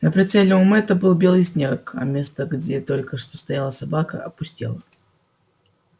на прицеле у мэтта был белый снег а место где только что стояла собака опустело